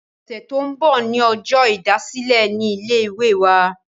ọ̀sẹ̀ tó ń bọ̀ ní ọjọ́ ìdásílẹ̀ ní ilé ìwé wa